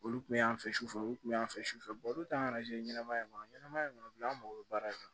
Olu kun y'an fɛ sufɛ olu kun y'an fɛ sufɛ olu ta kan ka se ɲɛnɛmaya ma ɲɛnɛma in kɔnɔ bi an mago bɛ baara in na